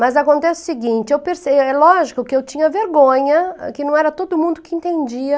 Mas acontece o seguinte, é lógico que eu tinha vergonha, que não era todo mundo que entendia